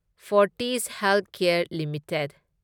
Fortis Healthcare limited